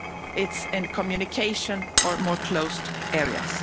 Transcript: It's in communication or more closed areas.